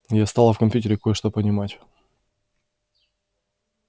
я стала в компьютере кое-что понимать